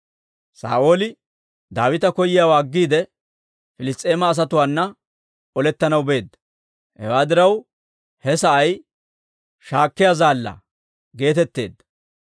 Saa'ooli Daawita koyiyaawaa aggiide, Piliss's'eema asatuwaana olettanaw beedda. Hewaa diraw, he sa'ay «Shaakkiyaa zaallaa» geetetteedda.